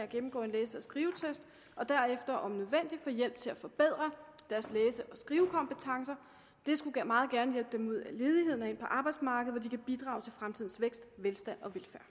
gennemgår en læse og skrivetest og derefter om nødvendigt får hjælp til at forbedre deres læse og skrivekompetencer det skulle meget gerne hjælpe dem ud af ledigheden og ind på arbejdsmarkedet hvor de kan bidrage til fremtidens vækst velstand